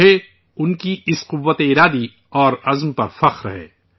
مجھے ان کی اس قوت ارادی پر فخر ہے